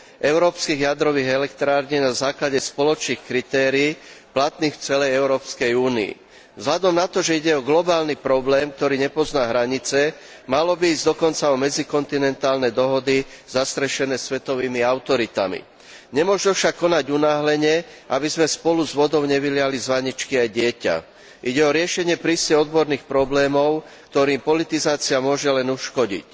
európskych jadrových elektrární na základe spoločných kritérií platných v celej Európskej únii. Vzhľadom na to, že ide o globálny problém, ktorý nepozná hranice, malo by ísť dokonca o medzikontinentálne dohody zastrešené svetovými autoritami. Nemožno však konať unáhlene, aby sme spolu s vodou nevyliali z vaničky aj dieťa. Ide o riešenie prísne odborných problémov, ktorým politizácia môže len uškodiť.